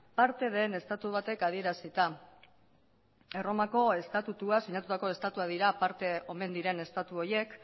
parte den estatu batek adierazita erromako estatutua sinatutako estatuak dira parte omen diren estatu horiek